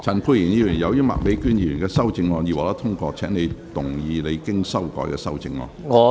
陳沛然議員，由於麥美娟議員的修正案已獲得通過，請動議你經修改的修正案。